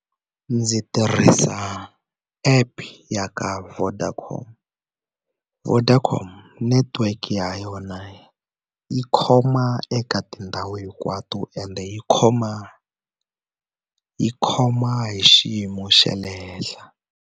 Ndzi tirhisa app ya ka Vodacom Vodacom network ya yona yi khoma eka tindhawu hinkwato ende yi khoma yi khoma hi xiyimo xa le henhla.